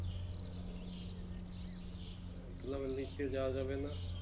আহ ধুলাবালিতে যাওয়া যাবে না।